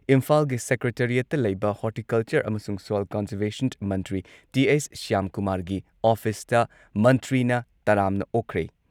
ꯏꯝꯐꯥꯜꯒꯤ ꯁꯦꯀ꯭ꯔꯦꯇꯔꯤꯌꯦꯠꯇ ꯂꯩꯕ ꯍꯣꯔꯇꯤꯀꯜꯆꯔ ꯑꯃꯁꯨꯡ ꯁꯣꯏꯜ ꯀꯟꯖꯔꯚꯦꯁꯟ ꯃꯟꯇ꯭ꯔꯤ ꯇꯤ.ꯑꯩꯆ. ꯁ꯭ꯌꯥꯝꯀꯨꯃꯥꯔꯒꯤ ꯑꯣꯐꯤꯁꯇ ꯃꯟꯇ꯭ꯔꯤꯅ ꯇꯔꯥꯝꯅ ꯑꯣꯛꯈ꯭ꯔꯦ꯫